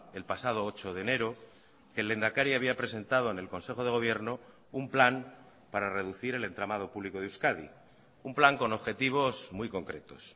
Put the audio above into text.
el pasado ocho de enero que el lehendakari había presentado en el consejo de gobierno un plan para reducir el entramado público de euskadi un plan con objetivos muy concretos